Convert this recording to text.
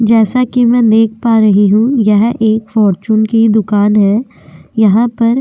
जैसे कि मैं देख पा रही हूं यह एक फॉर्चून की दुकान है। यहां पर --